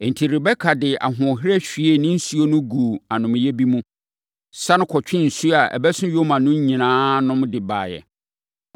Enti, Rebeka de ahoɔherɛ hwiee ne nsuo no guu anomeeɛ bi mu, sane kɔtwee nsuo a ɛbɛso nyoma no nyinaa nom de baeɛ.